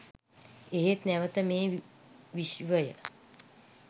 එහෙත් නැවත මේ විශ්වය